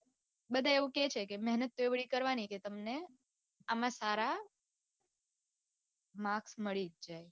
બધાય એવું કે છે કે મેહનત એવી કરવાની કે તમને આમ સારા marks મળી જ જાય